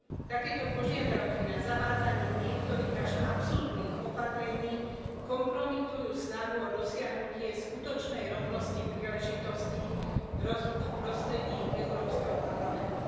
Takéto požiadavky na zavádzanie niektorých až absurdných opatrení kompromitujú snahu o dosiahnutie skutočnej rovnosti príležitostí v prostredí Európskeho parlamentu.